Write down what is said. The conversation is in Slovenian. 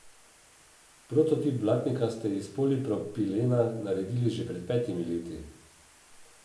Prototip blatnika ste iz polipropilena naredili že pred petimi leti.